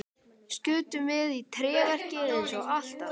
Skutum við í tréverkið eins og alltaf?